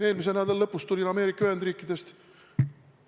Eelmise nädala lõpus tulin Ameerika Ühendriikidest.